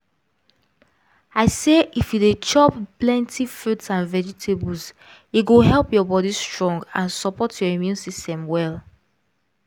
i say if you dey chop plenty fruits and vegetables e go help your body strong and support your immune system well